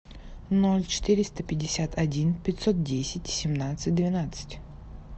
ноль четыреста пятьдесят один пятьсот десять семнадцать двенадцать